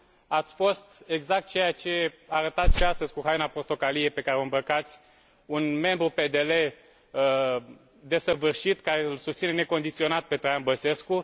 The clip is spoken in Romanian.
Ați fost exact ceea ce arătați și astăzi, cu haina portocalie pe care o îmbrăcați un membru PDL desăvârșit, care îl susține necondiționat pe Traian Băsescu.